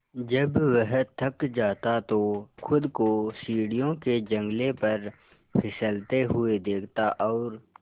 जब वह थक जाता तो खुद को सीढ़ियों के जंगले पर फिसलते हुए देखता और